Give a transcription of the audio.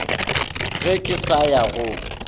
ge ke sa ya go